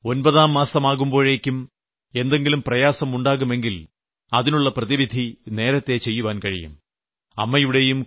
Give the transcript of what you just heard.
ഇത് കാരണം ഒമ്പതാം മാസമാകുമ്പോഴേയ്ക്കും എന്തെങ്കിലും പ്രയാസമുണ്ടാകുമെങ്കിൽ അതിനുള്ള പ്രതിവിധി നേരത്തേ ചെയ്യാൻ കഴിയും